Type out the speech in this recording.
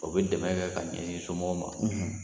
O bɛ dɛmɛ kɛ ka ɲɛsin somɔgɔw ma